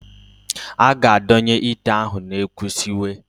A ga-adonye ite ahụ n'ekwu siwe.